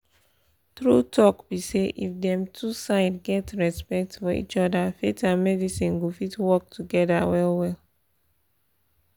true talk be say if dem two side get respect for each other faith and medicine go fit work together well well